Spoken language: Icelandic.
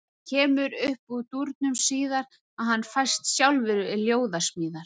Og það kemur upp úr dúrnum síðar að hann fæst sjálfur við ljóðasmíðar.